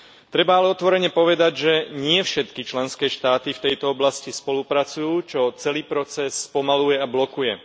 Treba ale otvorene povedať, že nie všetky členské štáty v tejto oblasti spolupracujú, čo celý proces spomaľuje a blokuje.